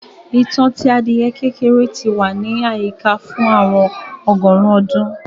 ìtàn tí adiẹ kékeré tí wà ní àyíká fún àwọn ọgọrùn ọdún